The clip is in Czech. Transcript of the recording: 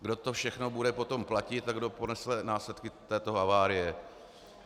Kdo to všechno bude potom platit a kdo ponese následky této havárie?